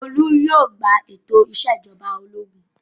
Olú yóò gba ètò ìṣèjọba ológun!